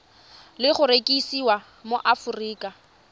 le go rekisiwa mo aforika